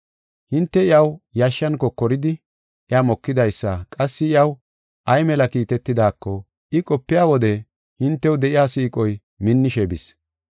Hinte iyaw yashshan kokoridi, iya mokidaysa qassi iyaw ay mela kiitetidaako, I qopiya wode hintew de7iya siiqoy minnishe bis.